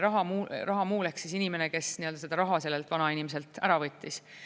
Rahamuul ehk inimene, kes seda raha sellelt vanainimeselt ära võttis.